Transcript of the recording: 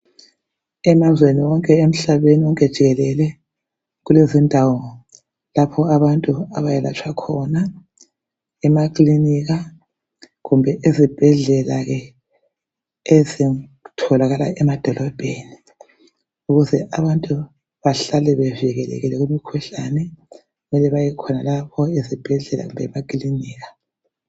Emazweni wonke emhlabeni jikelele kulezindawo lapho abantu abayelatshwa khona emakilinika kumbe ezibhendlela ezitholakala emadolobheni ukuze abantu bahlale bevikelekile kumkhuhlane mele baye khonalapho esibhedlela lemakilinika.